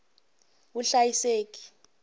vuhlayiseki